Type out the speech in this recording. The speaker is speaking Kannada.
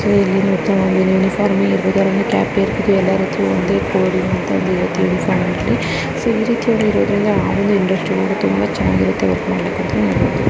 ಇಲ್ಲಿ ಮತ್ತು ಯುನಿಫಾರ್ಮ್ ಕ್ಯಾಪ್ ಯಲ್ಲಾ ರೀತಿ ಒಂದೇ ತುಂಬಾ ಚೆನ್ನಾಗಿರುತ್ತೆ ವರ್ಕ್ ಮಾಡಕ್ಕೆ --